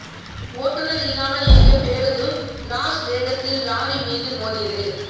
ஓட்டுநர் இல்லாமல் இயங்கிய பேருந்து லாஸ் வேகஸில் லாரி மீது மோதியது